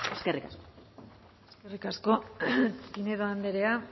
eskerrik asko eskerrik asko pinedo andrea